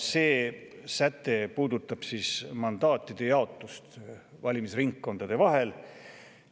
See säte puudutab mandaatide jaotust valimisringkondade vahel.